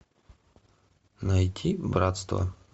найти братство